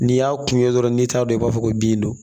N'i y'a kun ye dɔrɔn n'i t'a dɔn i b'a fɔ ko bin don